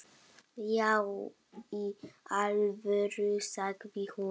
Já í alvöru, sagði hún.